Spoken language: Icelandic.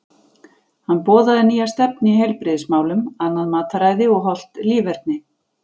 Hann boðaði nýja stefnu í heilbrigðismálum, annað mataræði og hollt líferni.